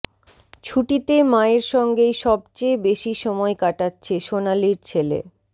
ছুটিতে মায়ের সঙ্গেই সবচেয়ে বেশি সময় কাটাচ্ছে সোনালীর ছেলে